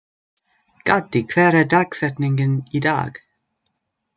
Gaddi, hver er dagsetningin í dag?